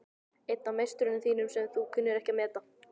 Einn af meisturum þínum sem þú kunnir ekki að meta.